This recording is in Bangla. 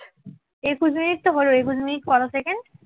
একুশ মিনিট তো হলো একুশ মিনিট কত সেকেন্ড